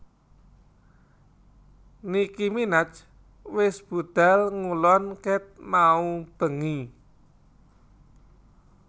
Nicki Minaj wes budhal ngulon ket mau bengi